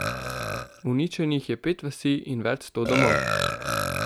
Uničenih je pet vasi in več sto domov.